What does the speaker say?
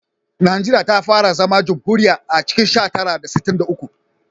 Najeriya ta fara zama jamhuriya a cikin sha tara da sittin da uku